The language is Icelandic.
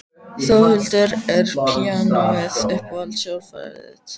Þórhildur: Er píanóið uppáhalds hljóðfærið þitt?